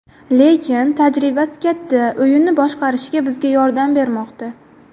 Lekin tajribasi katta, o‘yinni boshqarishga bizga yordam bermoqda.